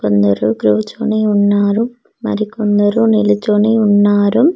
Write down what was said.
కొందరు క్రూచొని ఉన్నారు మరి కొందరు నిలుచొని ఉన్నారు.